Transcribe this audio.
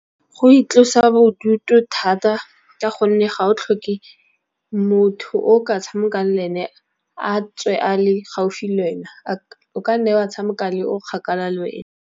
Go itlosa bodutu thata, ka gonne ga o tlhoke motho o ka tshamekang le ene a tswe a le gaufi le wena o kanne wa tshamekang le o kgakala le wena.